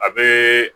A be